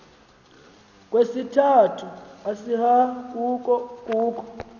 kwesesithathu isahauko kukho